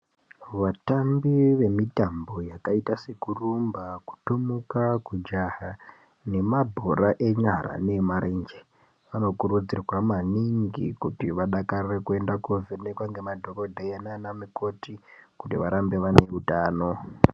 Vatambi vemitambo yakaite sekurumba, kutomuka, kujaha nemabhora enyara neemarenje, vanokurudzirwa maningi kuti vadakarire kuti vaende koovhenekwa ngemadhogodheya nanamukoti kuti varambe vane utano.